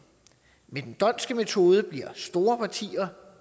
med den dhondtske metode bliver store partier